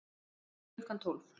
Klukkan tólf